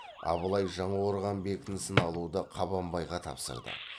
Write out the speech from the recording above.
абылай жаңақорған бекінісін алуды қабанбайға тапсырды